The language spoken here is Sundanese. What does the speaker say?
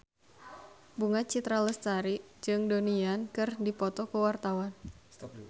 Bunga Citra Lestari jeung Donnie Yan keur dipoto ku wartawan